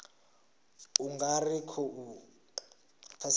u nga ri khou pfesesa